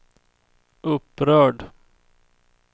upprörd